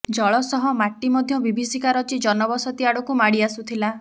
ଜଳ ସହ ମାଟି ମଧ୍ୟ ବିଭୀଷିକା ରଚି ଜନବସତି ଆଡକୁ ମାଡି ଆସୁଥିଲା